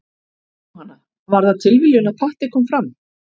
Jóhanna: Var það tilviljun að Patti kom fram?